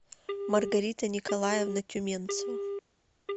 маргарита николаевна тюменцева